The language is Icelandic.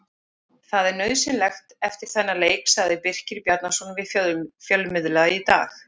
Það er nauðsynlegt eftir þennan leik, sagði Birkir Bjarnason við fjölmiðla í dag.